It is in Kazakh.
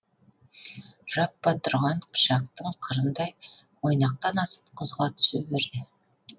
жаппа тұрған пышақтың қырындай мойнақтан асып құзға түсе берді